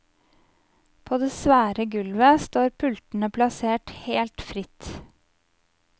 På det svære gulvet står pultene plassert helt fritt.